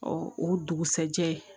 Ɔ o dugusajɛ